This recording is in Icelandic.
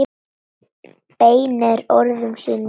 Beinir orðum sínum til mín.